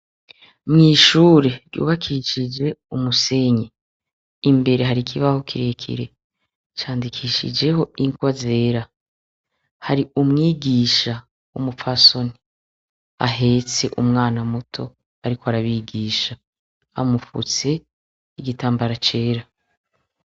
Mw' ishure ry' ubakishij' amatafari n' umusenyi, imbere har' ikibaho kirekire candikishijeh' ingwa zera, har' umwigisha w 'umupfason' ahets' umwana muto, arik' arabigish' amufuts' igitambara cera.